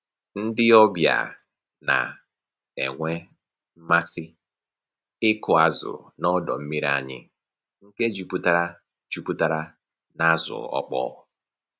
Ndị ọbịa na-enwe mmasị ịkụ azụ n'ọdọ mmiri anyị nke juputara juputara n'azụ ọkpọ